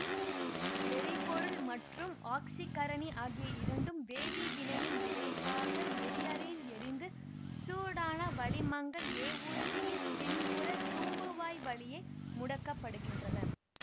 எரிபொருள் மற்றும் ஆக்சிகரணி ஆகிய இரண்டும் வேதிவினையின் விளைவாக எரிஅறையில் எரிந்து சூடான வளிமங்கள் ஏவூர்தியின் பின்புற தூம்புவாய் வழியே முடுக்கப்படுகின்றன